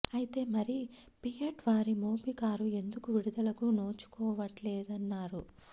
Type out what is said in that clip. అయితే మరి ఫియట్ వారి మోబి కారు ఎందుకు విడుదలకు నోచుకోవట్లేదంటారు